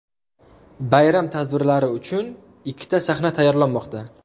Bayram tadbirlari uchun ikkita sahna tayyorlanmoqda.